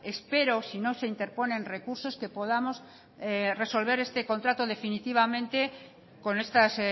espero si no se interponen recursos que podamos resolver este contrato definitivamente con estos